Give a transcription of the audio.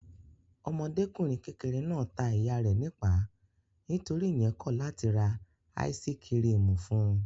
Ọmọdékùnrin kékeré náà ta ìyá rẹ̀ nípàá nítorí ìyẹn kọ̀ láti ra áísí-kirìmì fún un.